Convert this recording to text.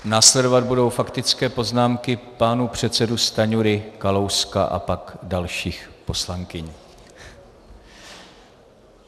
Následovat budou faktické poznámky pánů předsedů Stanjury, Kalouska a pak dalších poslankyň.